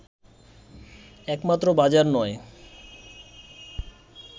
একমাত্র বাজার নয়